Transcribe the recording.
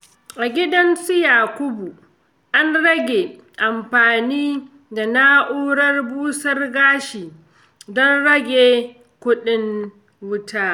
A gidan su Yakubu, an rage amfani da na'urar busar gashi don rage kuɗin wuta.